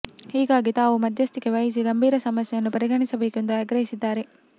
ಹೀಗಾಗಿ ತಾವು ಮದ್ಯಸ್ಥಿಕೆ ವಹಿಸಿ ಗಂಭೀರ ಸಮಸ್ಯೆಯ್ನು ಪರಿಗಣಿಸಬೇಕು ಎಂದು ಆಗ್ರಹಿಸಿದ್ದಾರೆ